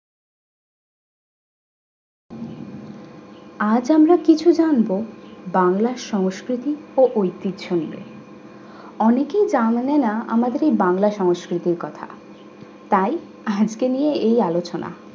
আজ আমরা কিছু জানবো বাংলা সংস্কৃতি ও ঐতিহ্য নিয়ে অনেকেই জানেনা আমাদের এই বাংলা সংস্কৃতির কথা তাই আজকে নিয়ে এই আলোচনা